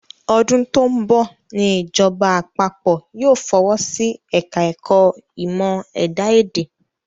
Ọdún tó ń bọ̀ ni ìjọba àpapọ̀ yóò fọwọ́ sí ẹ̀ka ẹ̀kọ́ ìmọ̀ ẹ̀dá-èdè